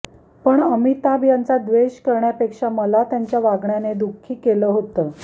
पण अमिताभ यांचा द्वेष करण्यापेक्षा मला त्यांच्या वागण्याने दुःखी केलं होतं